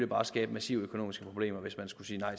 bare skabe massive økonomiske problemer hvis man skulle sige nej